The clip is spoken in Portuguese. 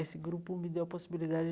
Esse grupo me deu a possibilidade